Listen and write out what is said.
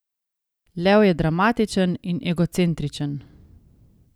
Lev je dramatičen in egocentričen.